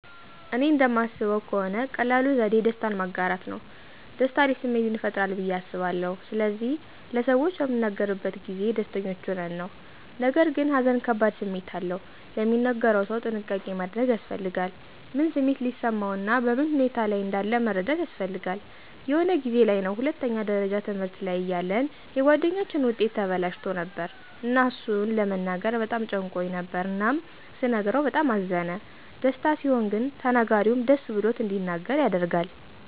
እኔ እንደማስበው ከሆነ ቀላሉ ዘዴ ደስታን ማጋራት ነው። ደስታ አሪፍ ስሜትን ይፈጥራል ብዬ አስባለሁ ስለዚህ ለሰዎች በምንናገርበት ጊዜ ደስተኞች ሆነን ነው። ነገርግን ሃዘን ከባድ ስሜት አለው፤ ለሚነገረው ሰው ጥንቃቄ ማድረግ ያስፈልጋል። ምን ስሜት ሊሰማው እና በምን ሁኔታ ላይ እንዳለ መረዳት ያስፈልጋል። የሆነ ጊዜ ላይ ነው ሁለተኛ ደረጃ ትምህርት ላይ እያለን የጉአደኛችን ዉጤት ተበላሽቶ ነበር እና እሱን ለመናገር በጣም ጨንቆኝ ነበር እናም ስነግረው በጣም አዘነ። ደስታ ሲሆን ግን ተናጋሪውም ደስ ብሎት እንዲናገር ያደርጋል።